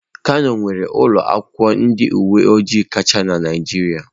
Kano nwere ụlọ akwụkwọ ndị uwe ojii kacha na Naịjirịa.